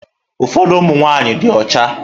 Ụfọdụ ụmụ nwaanyị dị ọcha.